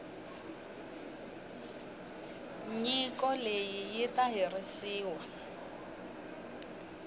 nyiko leyi yi ta herisiwa